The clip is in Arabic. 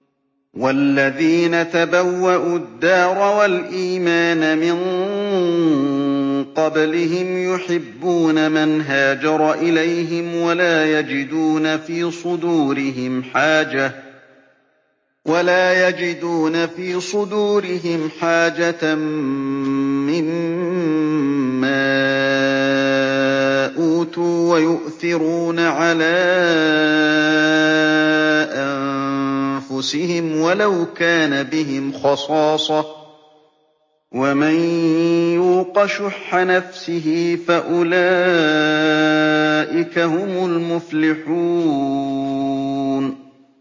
وَالَّذِينَ تَبَوَّءُوا الدَّارَ وَالْإِيمَانَ مِن قَبْلِهِمْ يُحِبُّونَ مَنْ هَاجَرَ إِلَيْهِمْ وَلَا يَجِدُونَ فِي صُدُورِهِمْ حَاجَةً مِّمَّا أُوتُوا وَيُؤْثِرُونَ عَلَىٰ أَنفُسِهِمْ وَلَوْ كَانَ بِهِمْ خَصَاصَةٌ ۚ وَمَن يُوقَ شُحَّ نَفْسِهِ فَأُولَٰئِكَ هُمُ الْمُفْلِحُونَ